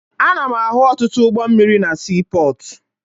Ana m ahụ ọtụtụ ụgbọ mmiri na siipọọtụ